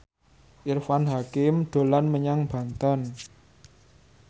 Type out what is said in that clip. Irfan Hakim dolan menyang Banten